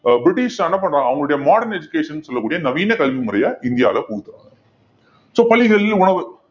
ஆஹ் British என்ன பண்றாங்க அவங்களுடைய modern education ன்னு சொல்லக்கூடிய நவீன கல்வி முறைய இந்தியால கொண்டு so பள்ளிகளில் உணவு